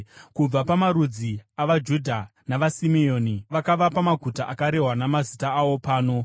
Kubva pamarudzi avaJudha navaSimeoni, vakavapa maguta akarehwa namazita awo pano